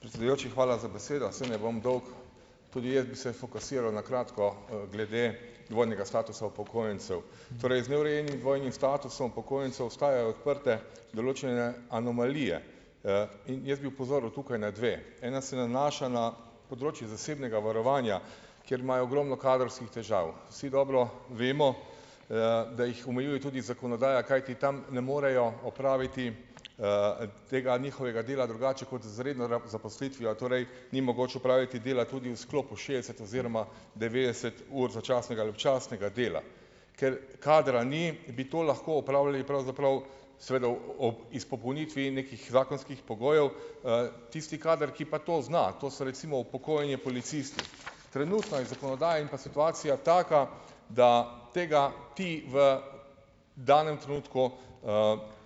Predsedujoči, hvala za besedo. Saj ne bom dolg. Tudi bi se fokusiral na kratko, glede dvojnega statusa upokojencev. Torej, z neurejenim dvojnim statusom upokojencev ostajajo odprte določene anomalije. In jaz bi opozoril tukaj na dve. Ena se nanaša na področje zasebnega varovanja, kjer imajo ogromno kadrovskih težav. Vsi dobro vemo, da jih omejuje tudi zakonodaja, kajti tam ne morejo opraviti tega njihovega dela drugače kot z redno zaposlitvijo, torej ni mogoče opraviti dela tudi v sklopu s šest oziroma devetdeset ur začasnega ali občasnega dela. Ker kadra ni, bi to lahko opravljali pravzaprav seveda ob izpopolnitvi nekih zakonskih pogojev, tisti kader, ki pa to zna, to so recimo upokojeni Trenutno iz zakonodaje in pa situacija taka, da tega ti v danem trenutku,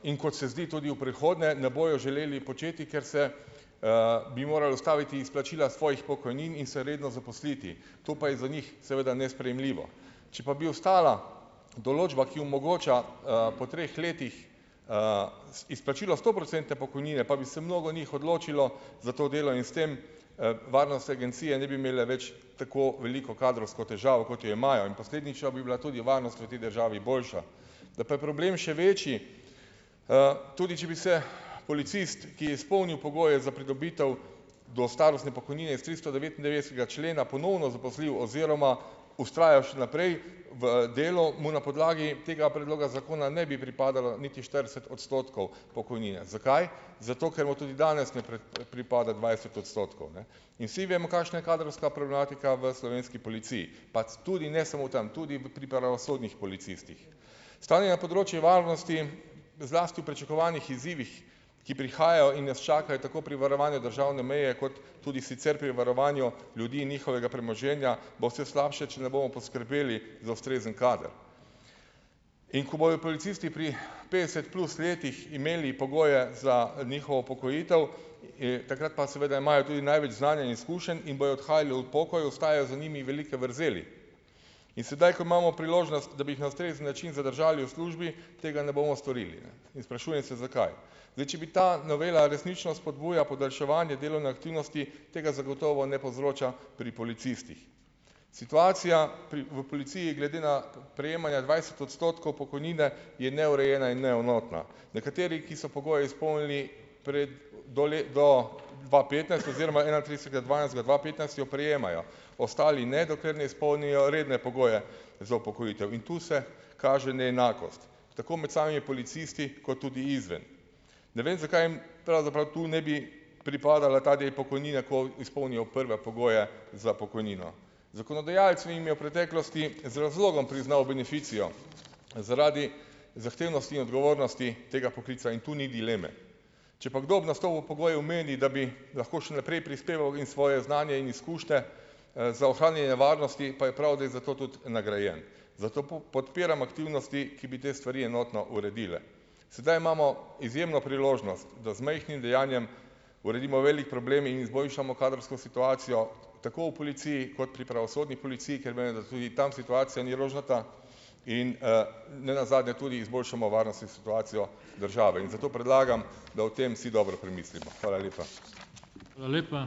in kot se zdi, tudi v prihodnje ne bojo želeli početi, ker se, bi moral ustaviti izplačila svojih pokojnin in se redno zaposliti, to pa je za njih seveda nesprejemljivo. Če pa bi ostala določba, ki omogoča, po treh letih, izplačilo stoprocentne pokojnine pa bi se mnogo njih odločilo za to delo in s tem, varnostne agencije ne bi imeli več tako veliko kadrovsko težavo, kot jo imajo, in posledično bi bila varnost proti državi boljša. Da pa je problem še večji, tudi če bi se policist, ki je izpolnil pogoje za pridobitev do starostne pokojnine s tristodevetindevetdesetega člena, ponovno zaposlil oziroma vztrajal še naprej v delu, mu na podlagi tega predloga zakona ne bi pripadalo niti štirideset odstotkov pokojnine. Zakaj, zato ker mu tudi danes ne pripada dvajset odstotkov, ne. In vsi vemo, kakšna je kadrovska problematika v Slovenski policiji, pač tudi ne samo v tam, tudi v pri pravosodnih policistih. Stanje na področju varnosti, zlasti v pričakovanih izzivih, ki prihajajo in nas čakajo tako pri varovanju državne meje kot tudi sicer pri varovanju ljudi in njihovega premoženja, bo vse slabše, če ne bomo poskrbeli za ustrezen kader. In ko bojo policisti pri petdeset plus letih imeli pogoje za, njihovo upokojitev, takrat pa seveda imajo tudi največ znanja in izkušenj in bojo odhajali v pokoj, ostajajo za njimi velike vrzeli. In sedaj, ko imamo priložnost, da bi jih na ustrezen način zadržali v službi, tega ne bomo storili in sprašujem se, zakaj. Zdaj, če bi ta novela resnično spodbuja podaljševanje delovne aktivnosti, tega zagotovo ne povzroča pri policistih. Situacija pri v policiji glede na prejemanja dvajset odstotkov pokojnine je neurejena in neenotna. Nekateri, ki so pogoje izpolnili pred do do dva petnajst oziroma enaintridesetega dvanajstega dva petnajst, jo prejemajo, ostali ne, dokler je izpolnijo redne pogoje za upokojitev, in tu se kaže neenakost tako med samimi policisti kot tudi izven. Ne vem, zakaj jim pravzaprav tu ne bi pripadal ta del pokojnine, ko izpolnijo prve pogoje za pokojnino. Zakonodajalec jim je v preteklosti z razlogom priznal beneficijo, zaradi zahtevnosti in odgovornosti tega poklica in tu ni dileme. Če pa kdo ob nastopu pogojev meni, da bi lahko še naprej prispeval in svoje znanje in izkušnje, za ohranjanje varnosti, pa je prav, da je za to tudi nagrajen, zato podpiram aktivnosti, ki bi te stvari enotno uredile. Sedaj imamo izjemno priložnost, da z majhnim dejanjem uredimo velik problem in izboljšamo kadrovsko situacijo tako v policiji kot pri pravosodni policiji, ker menda da tudi tam situacija ni rožnata in, nenazadnje tudi izboljšamo varnost in situacijo države, in zato predlagam, da o tem vsi dobro premislimo. Hvala lepa.